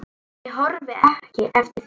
Ég horfi ekki eftir þér.